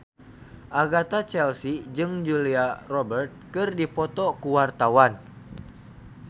Agatha Chelsea jeung Julia Robert keur dipoto ku wartawan